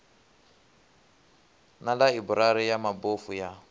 na ḽaiburari ya mabofu ya